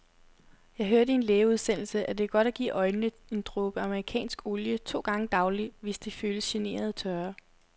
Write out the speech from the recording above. Jeg hørte i en lægeudsendelse, at det er godt at give øjnene en dråbe amerikansk olie to gange daglig, hvis de føles generende tørre.